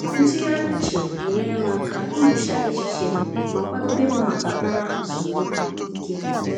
Ntụgharị uche na-enyere m aka ihicha echiche m ma kwadebe m maka ụra zuru ike.